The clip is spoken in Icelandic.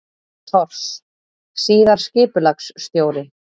Thors, síðar skipulagsstjóri.